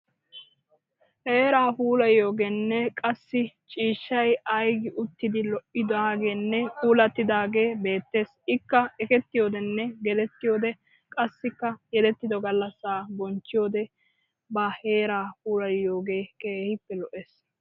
Heeraa puulayiyoogeenne qassi ciishshay aiigi uttidi lo'idageenne puulattidaagee beettes ikka ekettiyoodenne gelettiyoode qassikka yelettido gallassaa bonchchiyode ba heeraa puulayiyoogee keehippe lo'ees.